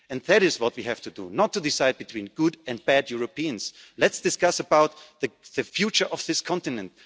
Union. That is what we have to do, not to decide between good and bad Europeans. Let's discuss the future of this